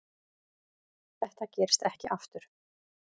Þetta gerist ekki aftur.